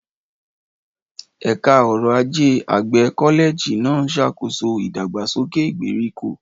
Ẹ̀ka ọrọ̀ ajé àgbẹ̀ kọ́lẹ́ẹ̀jì náà ń ṣàkóso ìdàgbàsókè ìgbèríko.